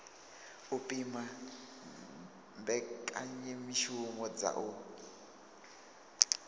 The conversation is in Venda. u pima mbekanyamishumo dza u